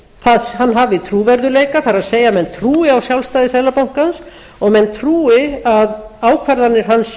að hann hafi trúverðugleika það er að menn trúi á sjálfstæði seðlabankans og menn trúi að ákvarðanir hans